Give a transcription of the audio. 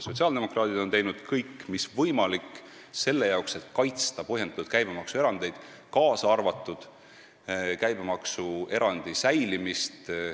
Sotsiaaldemokraadid on teinud kõik mis võimalik selleks, et kaitsta põhjendatud maksuerandeid, kaasa arvatud käibemaksuerandi säilimist.